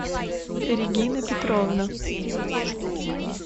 регина петровна